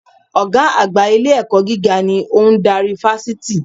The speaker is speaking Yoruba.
Ògá àgbà ilé-ẹ̀kọ́ gíga ni ó n darí Fásití